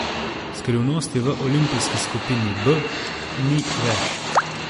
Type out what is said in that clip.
Skrivnosti v olimpijski skupini B ni več.